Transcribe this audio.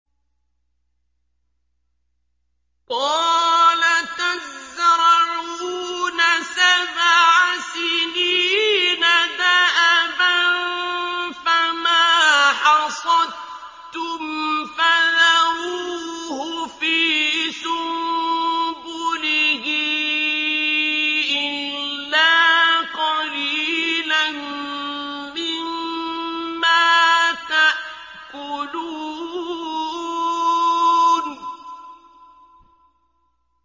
قَالَ تَزْرَعُونَ سَبْعَ سِنِينَ دَأَبًا فَمَا حَصَدتُّمْ فَذَرُوهُ فِي سُنبُلِهِ إِلَّا قَلِيلًا مِّمَّا تَأْكُلُونَ